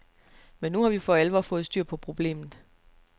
Men nu har vi for alvor fået styr på problemet.